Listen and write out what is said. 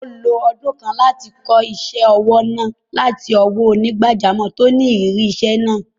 Ó lo ọ̀pọ̀ ọdún kan láti kọ́ isẹ́ òwò náà láti ọwọ́ onígbàjámọ̀ tó ní ìrírí iṣẹ́ náà.